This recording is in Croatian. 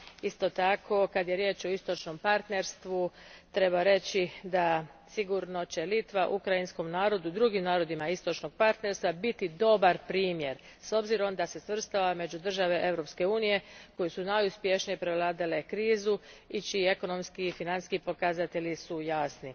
Isto tako, kad je riječ o Istočnom partnerstvu treba reći da sigurno će Litva ukrajinskom narodu, drugim narodima Istočnog partnerstva biti dobar primjer s obzirom na to da se svrstava među države Europske unije koje su najuspješnije prevladale krizu i čiji su ekonomski i financijski pokazatelji jasni.